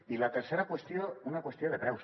i la tercera qüestió una qüestió de preus